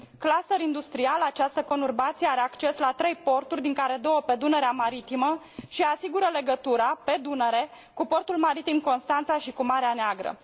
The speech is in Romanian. Cluster industrial, această conurbație are acces la trei porturi, din care două pe Dunărea maritimă și asigură legătura, pe Dunăre, cu portul maritim Constanța și cu Marea Neagră.